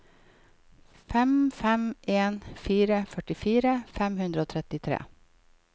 fem fem en fire førtifire fem hundre og trettitre